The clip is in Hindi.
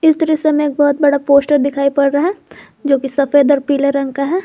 इस दृश्य में एक बहोत बड़ा पोस्टर दिखाई पड़ रहा है जो की सफेद और पीले रंग का है।